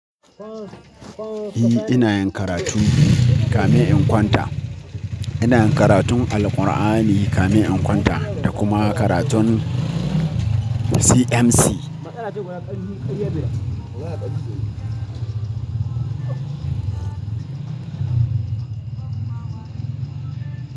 Ni ina yin karatu kame in kwanta. Ina karatun Alqur'ani kamin in kwanta da kuma karatun CMC.